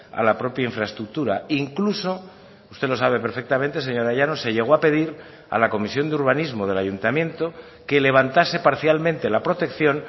a la propia infraestructura incluso usted lo sabe perfectamente señora llanos se llegó a pedir a la comisión de urbanismo del ayuntamiento que levantase parcialmente la protección